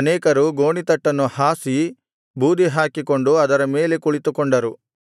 ಅನೇಕರು ಗೋಣಿತಟ್ಟನ್ನು ಹಾಸಿ ಬೂದಿಹಾಕಿಕೊಂಡು ಅದರ ಮೇಲೆ ಕುಳಿತುಕೊಂಡರು